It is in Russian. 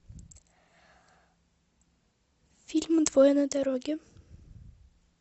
фильм двое на дороге